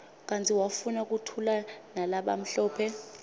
kanti wafuna kuthulanalabamhlophe